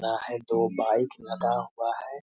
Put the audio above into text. रा है दो बाइक लगा हुआ है।